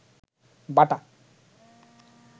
বাটা